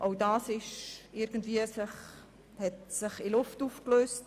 Auch diese Forderung hat sich in Luft aufgelöst.